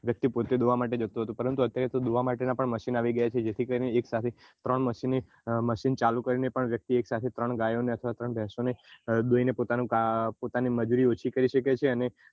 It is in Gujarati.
વ્યક્તિ પોતે દોવા માટે જતો હતો પરંતુ અત્યારે દોવા માટે ના પણ machine નો આવી ગયા છે જેથી કરી ને એક સાથે ત્રણ machine ચાલુ કરીને પણ વ્યક્તિ એક સાથે ત્રણ ગાયો ને અથવા ત્રણ ભેસો ને દોઈને પોતાનું મજુરી ઓછી કરી શકે છે અને